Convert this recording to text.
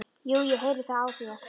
Jú, ég heyri það á þér.